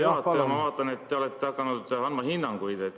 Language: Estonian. Ma vaatan, et te olete hakanud andma hinnanguid.